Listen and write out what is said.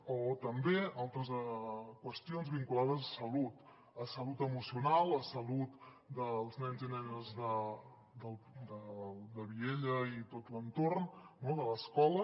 o també en altres qüestions vinculades a salut a salut emocional a salut dels nens i nenes de viella i tot l’entorn no de l’escola